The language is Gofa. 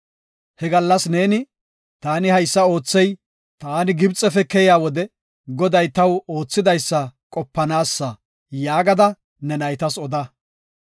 He gallas neeni, ‘Taani haysa oothey taani Gibxefe keyiya wode Goday taw oothidaysa qopanaasa’ yaagada ne naytas oda.